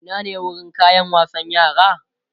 Ina ne wurin kayan wasan yara?